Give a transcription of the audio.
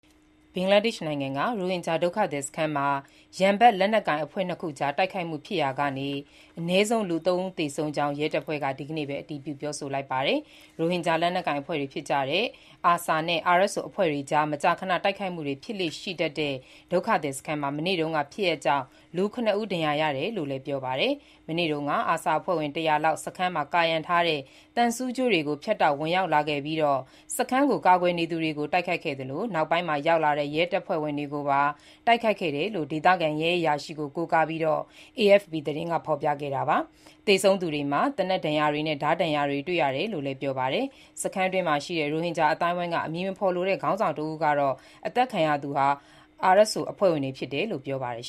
ဘင်္ဂလားဒေ့ရှ်နိုင်ငံက ရိုဟင်ဂျာ ဒုက္ခသည်စခန်းမှာ ရန်ဖက်လက်နက်ကိုင် အဖွဲ့ ၂ ခုကြား တိုက်ခိုက်မှု ဖြစ်ရာက အနည်းဆုံး ၃ ဦးသေဆုံးခဲ့ကြောင်း ရဲတပ်ဖွဲ့က ဒီကနေ့ပဲ အတည်ပြု ပြောဆိုလိုက်ပါတယ်။ ရိုဟင်ဂျာ လက်နက်ကိုင်အဖွဲ့တွေ ဖြစ်ကြတဲ့ ARSA နဲ့ RSO အဖွဲ့တွေကြား မကြာခဏ တိုက်ခိုက်မှုတွေ ဖြစ်လေ့ရှိတတ်တဲ့ ဒုက္ခသည်စခန်းမှာ မနေ့တုန်းက ဖြစ်ရပ်ကြောင့် ၇ ဦး ဒဏ်ရာရတယ်လို့လည်း ပြောပါတယ်။ မနေ့တုန်းက ARSA အဖွဲ့ဝင် ၁၀၀ လောက် စခန်းမှာ ကာရံထားတဲ့ သံဆူးကြိုးတွေကို ဖြတ်တောက် ဝင်ရောက်လာခဲ့ပြီး စခန်းကို ကာကွယ်နေသူတွေကို တိုက်ခိုက်ခဲ့သလို၊ နောက်ပိုင်းမှာ ရောက်လာတဲ့ ရဲတပ်ဖွဲ့ဝင်တွေပါ တိုက်ခိုက်ခဲ့တယ်လို့လည်း ဒေသခံရဲအရာရှိ Mohammad Iqbal ကို ကိုးကားပြီး AFP သတင်းက ဖော်ပြခဲ့တာပါ။ သေဆုံးသူတွေမှာ သေနတ်ဒဏ်ရာတွေနဲ့ ဓားဒဏ်ရာတွေ တွေ့ရတယ်လို့လည်း ပြောပါတယ်။ စခန်းတွင်းရှိ ရိုဟင်ဂျာ အသိုင်းအဝန်းက အမည်မဖော်လိုတဲ့ ခေါင်းဆောင် တဦးကတော့ အသတ်ခံရသူတွေဟာRSO အဖွဲ့ဝင်တွေဖြစ်တယ်လို့ ပြောပါတယ်